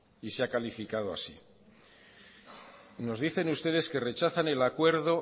y se ha calificado así nos dicen ustedes que rechazan el acuerdo